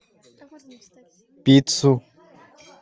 пиццу